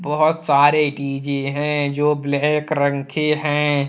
बहुत सारे डी_जे हैं जो ब्लैक रंग के हैं।